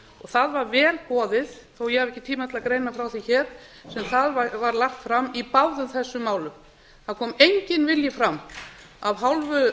það var vel boðið þó ég hafi ekki tíma til að greina frá því hér sem þar var lagt fram í báðum þessum málum það kom enginn vilji fram af hálfu